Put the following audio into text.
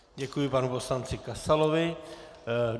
Děkuji panu poslanci Kasalovi.